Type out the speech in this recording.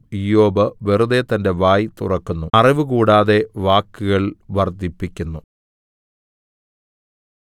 ഇയ്യോബ് വെറുതെ തന്റെ വായ് തുറക്കുന്നു അറിവുകൂടാതെ വാക്കുകൾ വർദ്ധിപ്പിക്കുന്നു